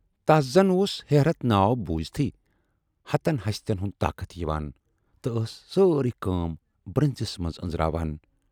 تَس زَن اوس 'ہیرتھ' ناو بوٗزۍتھٕے ہَتن ۂسۍتن ہُند طاقت یِوان تہٕ ٲس سٲرٕے کٲم برنزِس منز ٲنزراوان۔